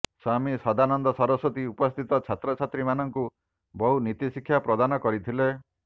ସ୍ୱାମୀ ସଦାନନ୍ଦ ସରସ୍ୱତୀ ଉପସ୍ଥିତ ଛାତ୍ରଛାତ୍ରୀମାନଙ୍କୁ ବହୁ ନୀତିଶିକ୍ଷା ପ୍ରଦାନ କରିଥିଲେ